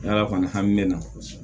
N'ala kɔni hami ne na